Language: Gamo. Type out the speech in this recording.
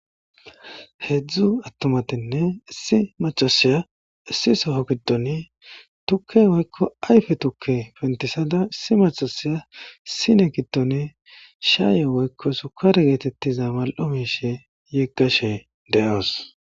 heedzdzu attumatinne issi macasaya issi soho giddoni tukke woykko ayfe tukke pentisada issi macasiya isine giddoni shaaye woykko sukar geetettiza mal7o miishe yiggashe de7oos